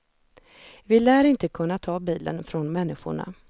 Vi lär inte kunna ta bilen från människorna.